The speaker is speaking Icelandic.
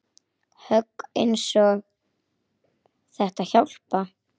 Högg eins og þetta hjálpa